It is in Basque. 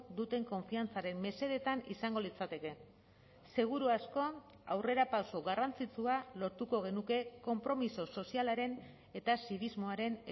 duten konfiantzaren mesedetan izango litzateke seguru asko aurrerapauso garrantzitsua lortuko genuke konpromiso sozialaren eta zinismoaren